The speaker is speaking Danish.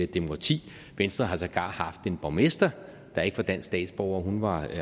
demokrati venstre har sågar haft en borgmester der ikke var dansk statsborger hun var